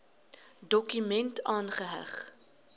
dokument aangeheg